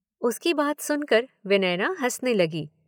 उसकी बात सुनकर विनयना हँसने लगी।